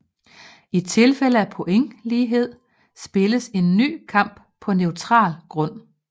I tilfælde af pointlighed spilledes en ny kamp på neutral grund